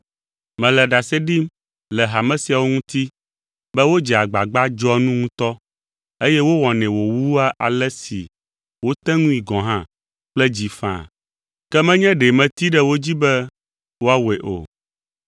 Mele ɖase ɖim le hame siawo ŋuti be wodzea agbagba dzɔa nu ŋutɔ, eye wowɔnɛ wòwua ale si woate ŋui gɔ̃ hã kple dzi faa, ke menye ɖe metee ɖe wo dzi be woawɔe o.